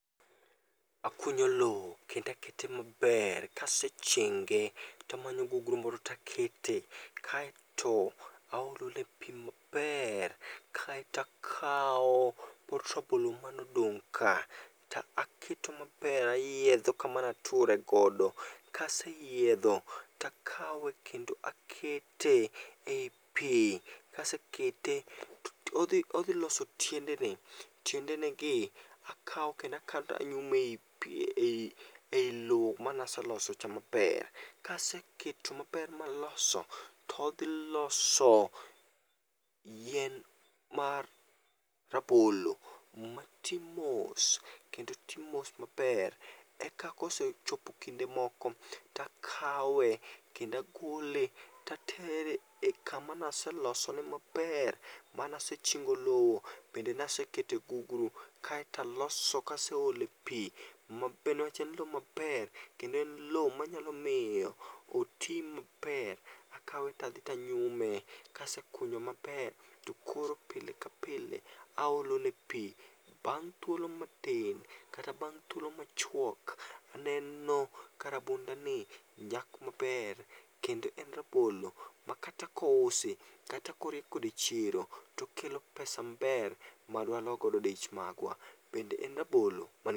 Akunyo loo kend akete maber kasechinge, tamanyo gugru moro takete, kaeto aolone pii maper, kaetakaw pot rabolo manodong' ka ta aketo maber ayiedho kama nature godo. Kaseyiedho takawe kendo akete ei pii, kasekete to odhi odhi loso tiendene. Tiendene gi, akaw kendo akaw tanyumo ei pi ei ei lo manaseloso cha maper. Kaseketo maper maloso, todhi loso yien mar rabolo matii mos kendo tii mos maper. Eka kosechopo kinde moko takawe, kend agole tatere e kama naselosone maper manase chingo lowo bende nasekete e gugru, kaeto aloso kaseolo e pii newach en lo maber, kendo en lo manyalo miyo oti maper. Akawe tadhi tanyume, kasekunye maper, to koro pile ka pile aolo ne pii. Bang' thuolo matin, kata bang' thuolo machwok, aneno ka rabonda ni nyak maber kendo en rabolo ma kata kousi kata korie kode chiro, tokelo pesa maber madwa lo godo dich magwa. Bende en rabolo man gi